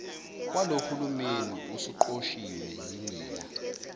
walohulumeni usuqoshiwe yinina